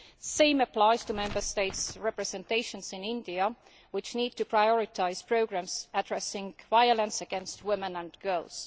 The same applies to the Member States' representations in India, which need to prioritise programmes addressing violence against women and girls.